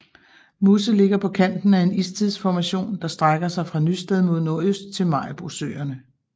Musse ligger på kanten af en istidsformation der strækker sig fra Nysted mod nordøst til Maribosøerne